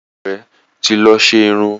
Ìyàwó rẹ́ ti lọ ṣe irun.